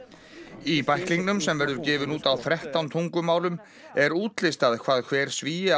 í bæklingnum sem verður gefinn út á þrettán tungumálum er útlistað hvað hver Svíi á